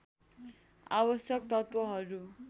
आवश्यक तत्त्वहरू